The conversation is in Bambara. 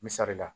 Misali la